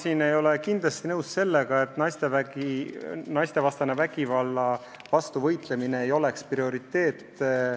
Ma ei ole kindlasti nõus sellega, et naistevastase vägivalla vastu võitlemine ei ole prioriteet.